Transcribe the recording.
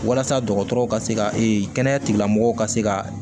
Walasa dɔgɔtɔrɔw ka se ka kɛnɛya tigilamɔgɔw ka se ka